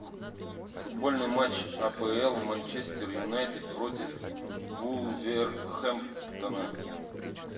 футбольный матч апл манчестер юнайтед против вулверхэмптона